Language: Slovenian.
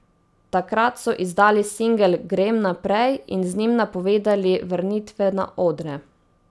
Takrat so izdali singel Grem naprej in z njim napovedali vrnitve na odre.